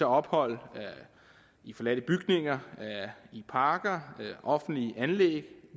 ophold i forladte bygninger i parker offentlige anlæg